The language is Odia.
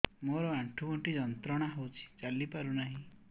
ମୋରୋ ଆଣ୍ଠୁଗଣ୍ଠି ଯନ୍ତ୍ରଣା ହଉଚି ଚାଲିପାରୁନାହିଁ